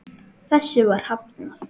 Þessu var hafnað.